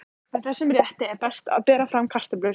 Með þessum rétti er best að bera fram kartöflur.